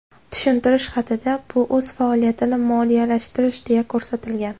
Tushuntirish xatida bu o‘z faoliyatini moliyalashtirish deya ko‘rsatilgan.